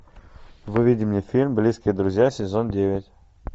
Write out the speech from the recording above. выведи мне фильм близкие друзья сезон девять